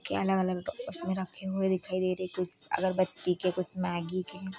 के अलग-अलग उसमें रखे हुए दिखाई दे रहे हैं कुछ अगरबत्ती के कुछ मैगी के --